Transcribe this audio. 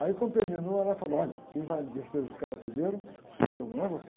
Aí quando terminou, ela falou, olha, quem vai descer a escada primeiro sou eu, não é você.